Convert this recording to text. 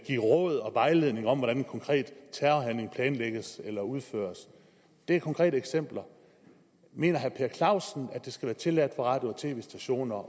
give råd og vejledning om hvordan en konkret terrorhandling planlægges og udføres det er konkrete eksempler mener herre per clausen at det skal være tilladt for radio og tv stationer at